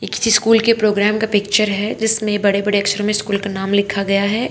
एक स्कूल के प्रोग्राम का पिक्चर है जिसमे बड़े बड़े अक्षर मे स्कूल का नाम लिखा गया है।